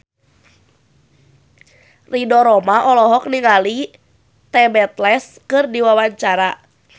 Ridho Roma olohok ningali The Beatles keur diwawancara